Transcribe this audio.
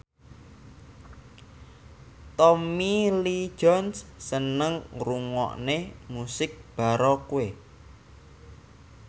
Tommy Lee Jones seneng ngrungokne musik baroque